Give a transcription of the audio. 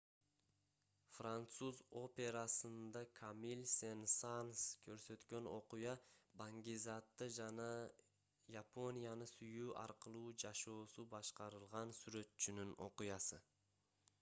француз операсында камиль сен-санс көрсөткөн окуя бангизатты жана японияны сүйүү аркылуу жашоосу башкарылган сүрөтчүнүн окуясы